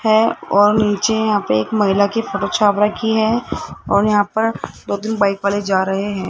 है और नीचे यहाँ पे एक महिला के फोटो छाप रखी है और यहां पर दो तीन बाइक वाले जा रहे हैं।